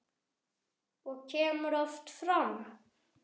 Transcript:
Og hann kemur oft fram.